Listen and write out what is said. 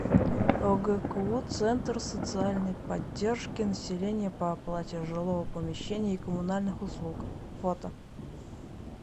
огку центр социальной поддержки населения по оплате жилого помещения и коммунальных услуг фото